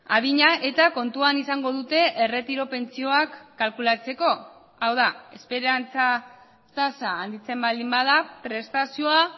adina eta kontuan izango dute erretiro pentsioak kalkulatzeko hau da esperantza tasa handitzen baldin bada prestazioa